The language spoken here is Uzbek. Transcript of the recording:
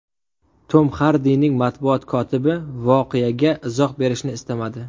Tom Xardining matbuot kotibi voqeaga izoh berishni istamadi.